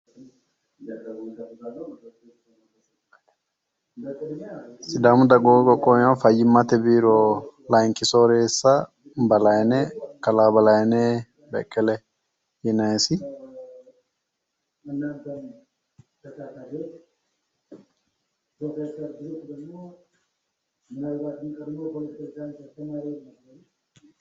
Sidaamu dagoomu qoqqowi fayyimmate biiro layinki sooreessa balayine kalaa balayinehi beqqele yinanyisi.